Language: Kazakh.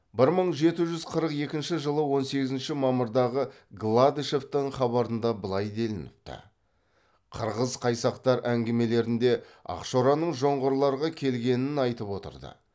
бір мың жеті жүз қырық екінші жылы он сегізінші мамырдағы гладышевтің хабарында былай делініпті қырғыз қайсақтар әңгімелерінде ақшораның жоңғарларға келгенін айтып отырды